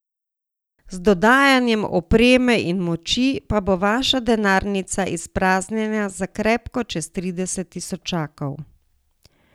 Z dodajanjem opreme in moči pa bo vaša denarnica izpraznjena za krepko čez trideset tisočakov.